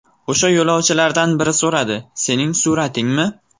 O‘sha yo‘lovchilardan biri so‘radi: ‘Sening suratingmi?